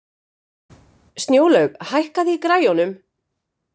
Snjólaug, hækkaðu í græjunum.